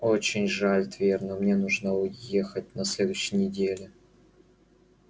очень жаль твер но мне нужно уехать на следующей неделе